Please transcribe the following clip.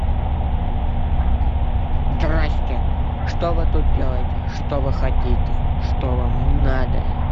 драсте что вы тут делаете что вы хотите что вам надо